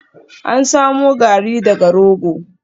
An samo Garri daga rogo